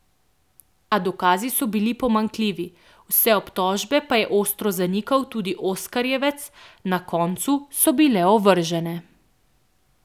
A dokazi so bili pomanjkljivi, vse obtožbe pa je ostro zanikal tudi oskarjevec, na koncu so bile ovržene.